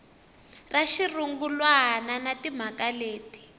ra xirungulwana na timhaka leti